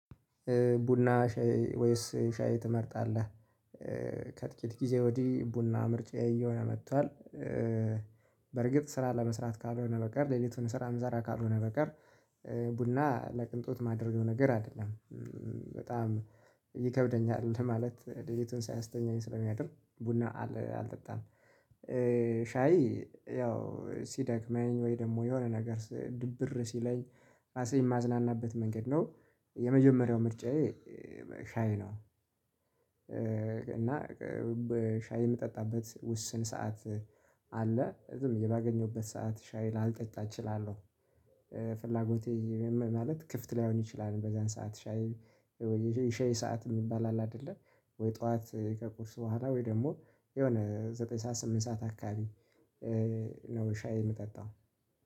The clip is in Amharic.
ቡና ሻይ ወይስ ሻይ ትመርጣለህ? ከጥቂት ጊዜ ወዲህ ቡና ምርጫዬ እየሆነ መጥቷል። በርግጥ ስራ ለመስራት ካልሆነ በቀር ሌሊቱን ስራ ምሰራ ካልሆነ በቀር ቡና ለቅንጦት የማደርገው ነገር አይደለም። በጣም ይከብደኛል እንትን ማለት ለሊቱን ሳያስተኛኝ ስለ ሚያድር ቡና አልጠጣም። ሻይ ያው ሲደክመኝ ወይ ደግሞ የሆነ ነገር ድብር ሲለኝ ራሴን የማዝናናበት መንገድ ነው የመጀመሪያው ምርጫዬ ሻይ ነው። እና በሻይ የምጠጣበት ውስን ሰዓት አለ ዝም ብዬ ባገኘውበት ሰዓት ሻይ ላልጠጣ እችላለሁ። ፍላጎቴ ማለት ክፍትላይሆን ይችላል። በዛን ሰዓት ሻይ የሻህ ሰዓት የሚባል አለ። አይደለ ወይ ጠዋት ከቁርስ በኋላ ወይ ደግሞ የሆነ ዘጠኝ ሰዓት ስምንት ሰዓት አካባቢ ነው። ሻይ የምጠጣው።